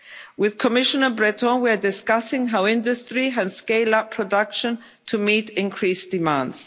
States. With Commissioner Breton we are discussing how industry can scale up production to meet increased